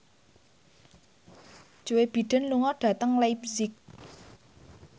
Joe Biden lunga dhateng leipzig